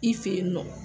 I fe yen nɔ